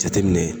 Jateminɛ